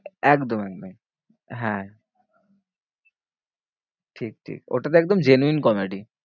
একদম একদম হ্যাঁ ঠিক ঠিক ওটাতো একদম genuine comedy.